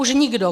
Už nikdo.